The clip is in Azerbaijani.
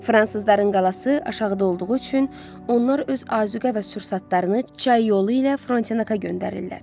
Fransızların qalası aşağıda olduğu üçün onlar öz azuqə və sursatlarını çay yolu ilə Frontenakə göndərirlər.